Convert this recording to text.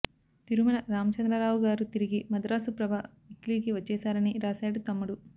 తిరుమల రామచంద్రరావుగారు తిరిగి మద్రాసు ప్రభ వీక్లీకి వచ్చేశారని రాశాడు తమ్ముడు